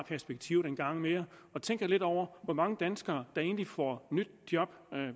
perspektivet en gang mere og tænk lidt over hvor mange danskere der egentlig får nyt job